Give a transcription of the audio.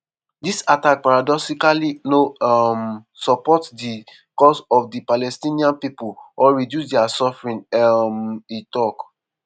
"dis attack paradoxically no um support di cause of di palestinian pipo or reduce dia suffering" um e tok.